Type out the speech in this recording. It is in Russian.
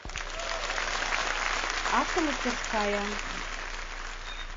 автомастерская